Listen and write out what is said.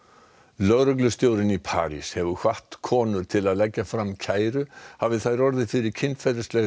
lögreglustjórinn í París hefur hvatt konur til að leggja fram kæru hafi þær orðið fyrir kynferðislegri